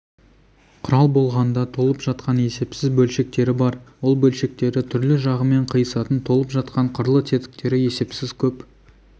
құрал болғанда толып жатқан есепсіз бөлшектері бар ол бөлшектері түрлі жағымен қиысатын толып жатқан қырлы тетіктері есепсіз көп